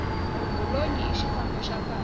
golonyi i xifambo xa kahle